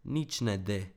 Nič ne de.